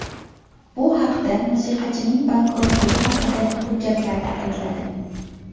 Bu haqda musiqachining bankrotligi haqidagi hujjatlarda aytiladi.